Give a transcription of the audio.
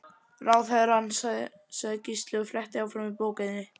Ráðherrann, sagði Gísli og fletti áfram í bókinni.